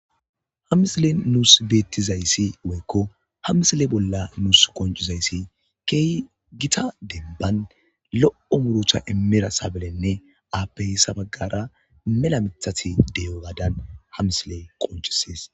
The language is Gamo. Ha misilezani bettidayi dayisi kehi gitta demibbani lo'o muruta imida sabilene ape ha bagara mela mithati deyogadani ha misileyi qonciesi